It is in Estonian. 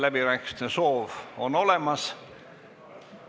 Läbirääkimiste soov on olemas.